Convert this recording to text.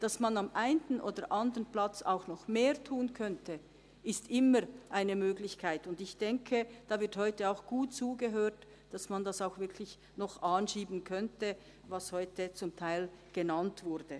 Dass man am einen oder anderen Ort auch noch mehr tun könnte, ist immer eine Möglichkeit, und ich denke, da wird heute auch gut zugehört, damit man wirklich noch anschieben könnte, was heute zum Teil genannt wurde.